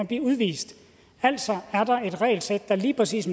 blive udvist altså er der et regelsæt der lige præcis